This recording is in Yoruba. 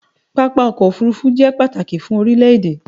Pápá ọkọ̀ òfurufú jẹ pàtàkì fún orílẹ̀ èdè